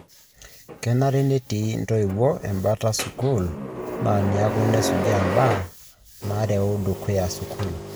Kenare netii ntoiwo embata sukul na niaku nasujaa mbaa nareu dukuya sukul.